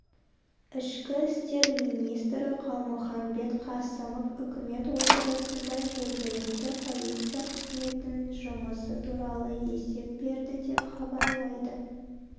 ішкі істер министрі қалмұханбет қасымов үкімет отырысында жергілікті полиция қызметінің жұмысы туралы есеп берді деп хабарлайды